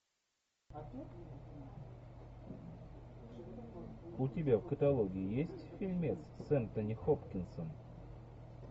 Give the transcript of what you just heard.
у тебя в каталоге есть фильмец с энтони хопкинсом